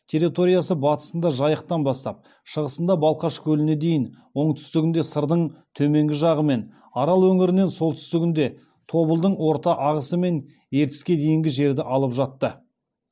территориясы батысында жайықтан бастап шығысында балқаш көліне дейін оңтүстігінде сырдың төменгі жағы мен арал өңірінен солтүстігінде тобылдың орта ағысы мен ертіске дейінгі жерді алып жатты